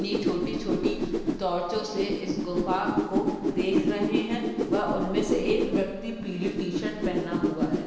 इतनी छोटी-छोटी टॉर्चो से इस गुफा को देख रहें हैं वह उनमे से एक व्यक्ति पीली टी शर्ट पहना हुआ है।